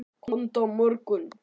Komdu á morgun.